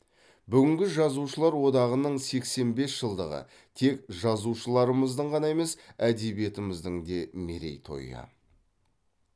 бүгінгі жазушылар одағының сексен бес жылдығы тек жазушыларымыздың ғана емес әдебиетіміздің де мерей тойы